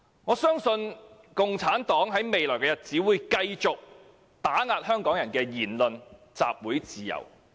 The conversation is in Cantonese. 我相信共產黨在未來日子，會繼續打壓香港人的言論和集會自由。